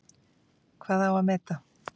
Hvað á að meta?